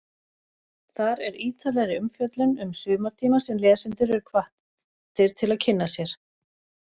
Þar er ítarlegri umfjöllun um sumartíma sem lesendur eru hvattir til að kynna sér.